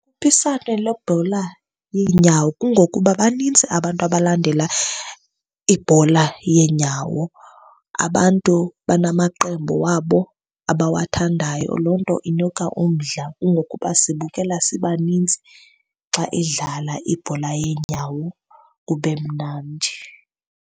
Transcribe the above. lebhola yeenyawo. Kungokuba banintsi abantu abalandela ibhola yeenyawo. Abantu banamaqembu wabo abawathandayo, loo nto inika umdla. Kungokuba sibukela sibaninzi xa idlala ibhola yeenyawo kube mnandi.